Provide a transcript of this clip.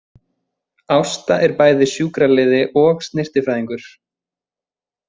Ásta er bæði sjúkraliði og snyrtifræðingur